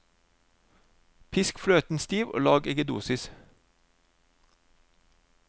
Pisk fløten stiv og lag eggedosis.